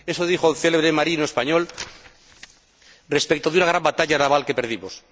Eso dijo un célebre marino español respecto de una gran batalla naval que perdimos.